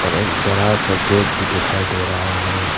एक बड़ा गेट भी दिखाई दे रहा है।